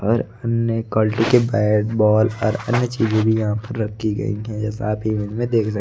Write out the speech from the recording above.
और नए क्वालिटी के बैट बॉल और अन्य चीजें भी यहां पर रखी गई है। जैसा आप इमेज में देख सकते--